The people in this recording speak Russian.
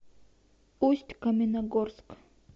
усть каменогорск